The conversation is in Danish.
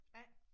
A